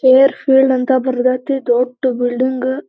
care field ಅಂತ ಬರ್ದಾಯಿತಿ ದೊಡ್ಡ ಬಿಲ್ಡಿಂಗ್ --